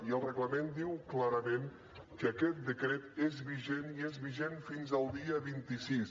i el reglament diu clarament que aquest decret és vigent i és vigent fins al dia vint sis